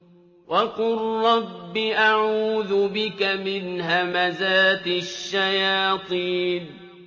وَقُل رَّبِّ أَعُوذُ بِكَ مِنْ هَمَزَاتِ الشَّيَاطِينِ